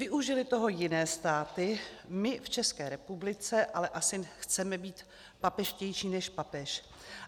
Využily toho jiné státy, my v České republice ale asi chceme být papežštější než papež.